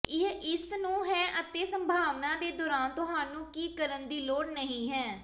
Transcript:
ਇਹ ਇਸ ਨੂੰ ਹੈ ਅਤੇ ਸੰਭਾਵਨਾ ਦੇ ਦੌਰਾਨ ਤੁਹਾਨੂੰ ਕੀ ਕਰਨ ਦੀ ਲੋੜ ਨਹੀ ਹੈ